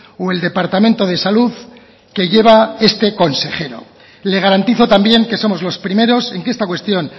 o el departamento de salud que lleva este consejero le garantizo también que somos los primeros en que esta cuestión